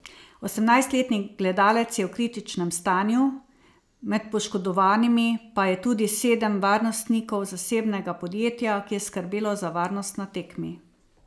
Osemnajstletni gledalec je v kritičnem stanju, med poškodovanimi pa je tudi sedem varnostnikov zasebnega podjetja, ki je skrbelo za varnost na tekmi.